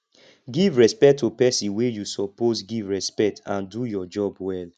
give respect to person wey you suppose give respect and do your job well